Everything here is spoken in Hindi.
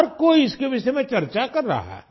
हर कोई इनके विषय में चर्चा कर रहा है